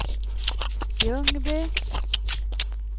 Ljungby